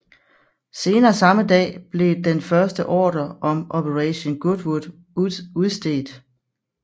Senere samme dag blev den første ordre om Operation Goodwood udstedt